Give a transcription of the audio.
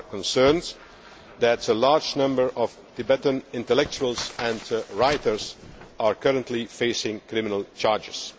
community. We are concerned that a large number of Tibetan intellectuals and writers are currently facing criminal